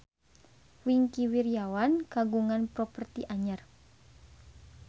Wingky Wiryawan kagungan properti anyar